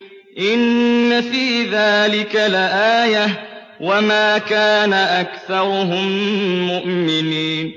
إِنَّ فِي ذَٰلِكَ لَآيَةً ۖ وَمَا كَانَ أَكْثَرُهُم مُّؤْمِنِينَ